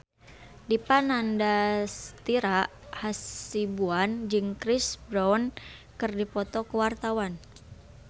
Dipa Nandastyra Hasibuan jeung Chris Brown keur dipoto ku wartawan